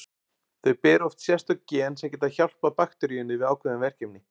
Þau bera oft sérstök gen sem geta hjálpað bakteríunni við ákveðin verkefni.